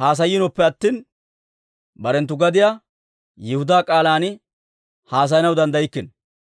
haasayiinoppe attina, barenttu gadiyaa, Yihudaa k'aalan haasayanaw danddaykkino.